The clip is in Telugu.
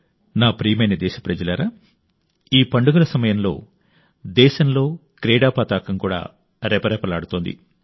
నా ప్రియమైన దేశప్రజలారా ఈ పండుగల సమయంలో దేశంలో క్రీడా పతాకం కూడా రెపరెపలాడుతోంది